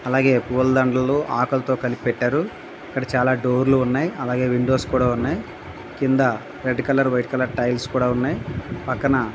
అలాగే పులాదండలు ఆకులుతో కలిపి పెట్టారు. ఇక్కడ చాలా డోర్ లు ఉన్నాయి. అలాగే విండోస్ కూడా ఉన్నాయి. క్రింద red colour white colour tiles కూడా ఉన్నాయి. ప్రక్కన --